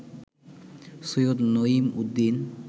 Syed Naimuddin